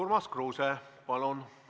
Urmas Kruuse, palun!